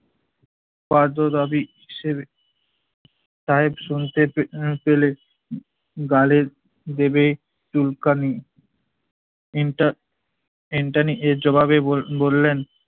পাঁজরাবি কিসের সাহেব শুনতে পে~ উম পেলে উম গালের দেবে চুলকানি। ইনটা~ ইন্টানী এর জবাবে বো~ বললেন-